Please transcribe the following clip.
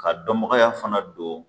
Ka dɔnbagaya fana don